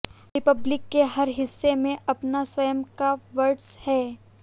Republic के हर हिस्से में अपना स्वयं का वर्स्ट है